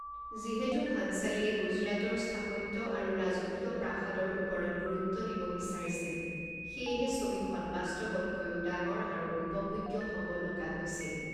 যিহেতু ভাঞ্চালীয়ে গুজৰাটৰ স্থাপত্য আৰু ৰাজকীয় প্ৰাসাদৰ ওপৰত গুৰুত্ব দিব বিচাৰিছিল, সেয়েহে ছবিখন বাস্তৱতকৈও ডাঙৰ আৰু উপভোগ্য হ'ব লগা হৈছিল।